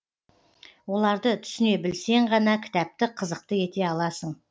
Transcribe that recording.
оларды түсіне білсең ғана кітапты қызықты ете аласың